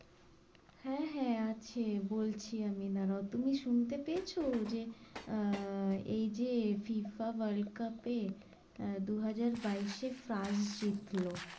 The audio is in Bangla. হ্যাঁ, হ্যাঁ আছে বলছি আমি দাঁড়াও তুমি শুনতে পেয়েছো? যে আহ এই যে FIFA world cup এ আহ দু-হাজার বাইশে ফ্রান্স জিতলো ।